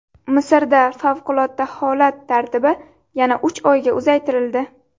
Misrda favqulodda holat tartibi yana uch oyga uzaytirildi.